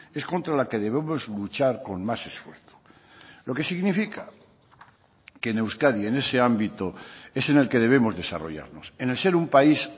es contra la que debemos luchar con más esfuerzo lo que significa que en euskadi en ese ámbito es en el que debemos desarrollarnos en el ser un país